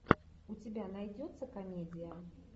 у тебя найдется комедия